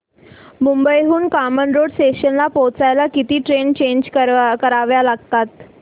मुंबई हून कामन रोड स्टेशनला पोहचायला किती ट्रेन चेंज कराव्या लागतात